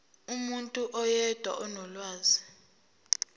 umuntu oyedwa onolwazi